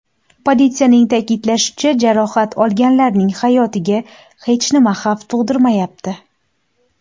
Politsiyaning ta’kidlashicha, jarohat olganlarning hayotiga hech nima xavf tug‘dirmayapti.